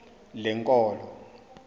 lenkolo